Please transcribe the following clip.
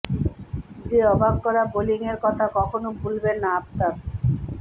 যে অবাক করা বোলিংয়ের কথা কখনো ভুলবেন না আফতাব